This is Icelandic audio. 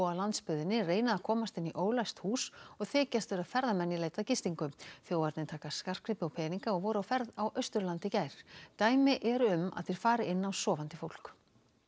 á landsbyggðinni reyna að komast inn í ólæst hús og þykjast vera ferðamenn í leit að gistingu þjófarnir taka skartgripi og peninga og voru á ferð á Austurlandi í gær dæmi eru um að þeir fari inn á sofandi fólk